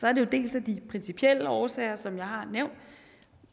er det jo dels af de principielle årsager som jeg har nævnt